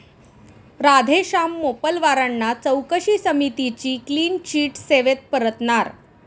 राधेश्याम मोपलवारांना चौकशी समितीची क्लीन चिट, सेवेत परतणार?